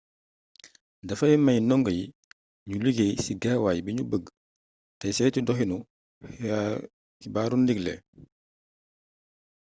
dafay mey ndongo yi nu liggéey ci gaawaay bi ñu bëgg te seytu doxinu xbaaru ndigle